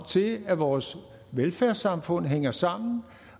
til at vores velfærdssamfund hænger sammen